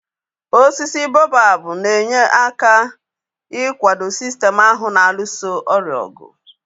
Osisi boabab na-enyekwa aka ikwado sistem ahụ na-alụso ọrịa ọgụ